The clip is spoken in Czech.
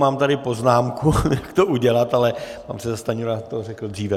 Mám tady poznámku, jak to udělat, ale pan předseda Stanjura to řekl dříve.